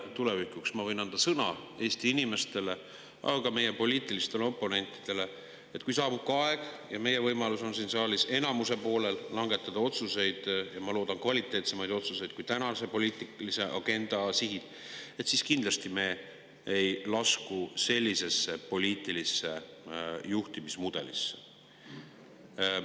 Tulevikuks ma võin anda sõna Eesti inimestele, aga ka meie poliitilistele oponentidele, et kui saabub aeg ja on meie võimalus siin saalis enamuse poolel langetada otsuseid – ja ma loodan, et kvaliteetsemaid otsuseid kui tänase poliitilise agenda sihid –, siis kindlasti me ei lasku sellisesse poliitilisse juhtimismudelisse.